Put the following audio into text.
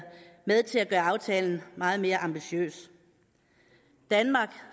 med til at gøre aftalen meget mere ambitiøs danmark